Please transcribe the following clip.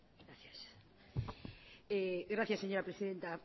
gracias señora presidenta